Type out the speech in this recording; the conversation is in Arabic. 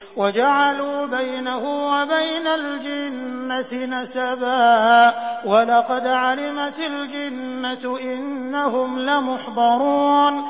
وَجَعَلُوا بَيْنَهُ وَبَيْنَ الْجِنَّةِ نَسَبًا ۚ وَلَقَدْ عَلِمَتِ الْجِنَّةُ إِنَّهُمْ لَمُحْضَرُونَ